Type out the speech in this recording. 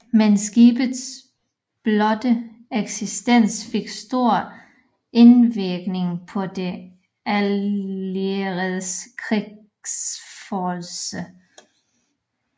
Men skibets blotte eksistens fik stor indvirkning på de allieredes krigsførelse